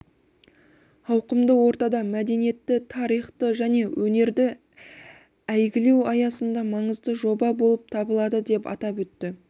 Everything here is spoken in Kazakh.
ауқымды ортада мәдениетті тарихты және өнерді әйгілеу аясында маңызды жоба болып табылады деп атап өтті